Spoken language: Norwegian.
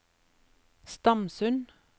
Stamsund